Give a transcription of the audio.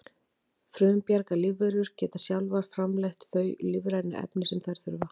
frumbjarga lífverur geta sjálfar framleitt þau lífrænu efni sem þær þurfa